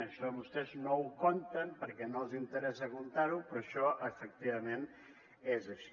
això vostès no ho compten perquè no els interessa comptar ho però això efectivament és així